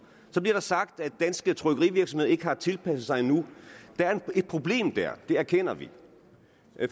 så bliver der sagt at danske trykkerivirksomheder ikke har tilpasset sig endnu der er et problem dér det erkender vi